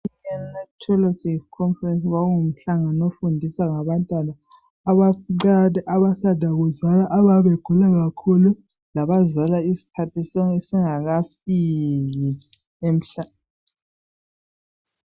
Neonatology conference kwakungumhlangano ofundisa ngabantwana abancane abasanda kuzalwa ababegula kakhulu labazalwa isikhathi singakafiki emhlabeni.